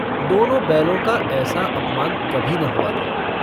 दोनों बैलों का ऐसा अपमान कभी न हुआ था।